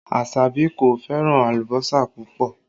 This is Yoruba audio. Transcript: Asabi kò fẹ́ràn alùbọ́sà púpọ̀